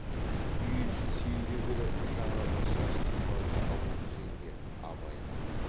үй іші сейіле бере жаңағы шаш сипарды алған жеңге абайға